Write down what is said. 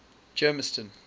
germiston